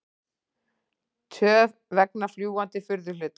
Töf vegna fljúgandi furðuhluta